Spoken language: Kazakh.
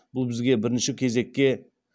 бұл бізге бірінші кезекке